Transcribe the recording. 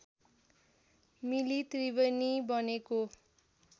मिली त्रिवेणी बनेको